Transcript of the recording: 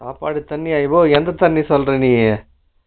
சாப்பாடு தண்ணி அதோ எந்த தண்ணிய சொல்லுற நீயி